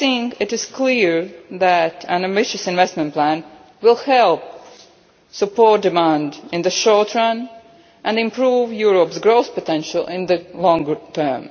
goal. It is clear that an ambitious investment plan will help support demand in the short term and improve Europe's growth potential in the longer